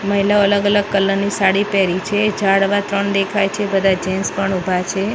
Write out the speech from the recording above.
મહિલાઓ અલગ અલગ કલર ની સાડી પહેરી છે ઝાડવા ત્રણ દેખાય છે. બધા જેન્ટ્સ પણ ઉભા છે અને--